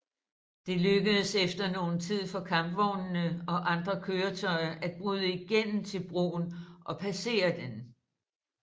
Det lykkedes efter nogen tid for kampvognene og andre køretøjer at bryde igennem til broen og passere den